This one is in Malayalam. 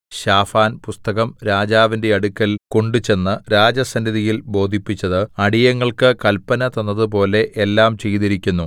ശാഫാൻ പുസ്തകം രാജാവിന്റെ അടുക്കൽ കൊണ്ടുചെന്ന് രാജസന്നിധിയിൽ ബോധിപ്പിച്ചത് അടിയങ്ങൾക്ക് കല്പന തന്നതുപോലെ എല്ലാം ചെയ്തിരിക്കുന്നു